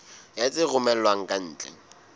ya tse romellwang ka ntle